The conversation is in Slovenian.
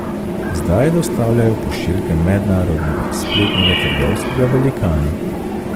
Zdaj dostavljajo pošiljke mednarodnega spletnega trgovskega velikana.